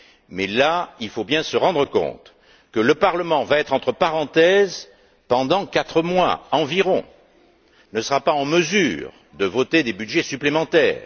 Mais à ce stade, il faut bien se rendre compte que le Parlement va être entre parenthèses pendant quatre mois environ et qu'il ne sera donc pas en mesure de voter des budgets supplémentaires.